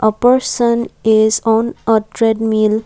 a person is on a treadmill.